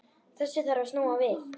Þessu þarf að snúa við.